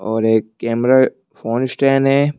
और एक camera phone stand है।